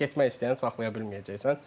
Yəni getmək istəyəni saxlaya bilməyəcəksən.